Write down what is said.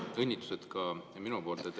Õnnitlused ka minu poolt.